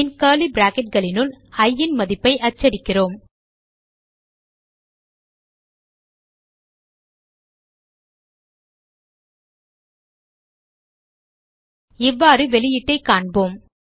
பின் curly bracketனுள் இ ன் மதிப்பை அச்சடிக்கிறோம் இப்போது வெளியீட்டைக் காண்போம்